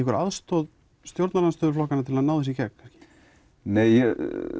aðstoð stjórnarandstöðuflokkanna til að ná þessu í gegn nei ég